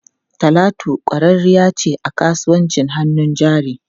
Talatu kwararriya ce a kasuwar hannun jari.